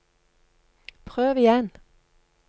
prøv igjen